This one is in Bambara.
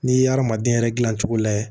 N'i ye adamaden yɛrɛ dilan cogo lajɛ